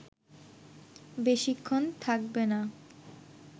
বেশিক্ষণ থাকবে না